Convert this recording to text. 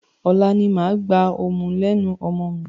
Ọ̀la ni màá gba ọmú lẹ́nu ọmọ mi.